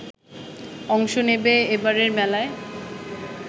অংশ নেবে এবারের মেলায়